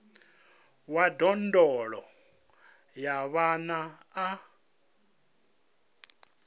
wa ndondolo ya vhana a